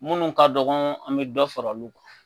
Munnu ka dɔgɔn an be dɔ fara olu kan.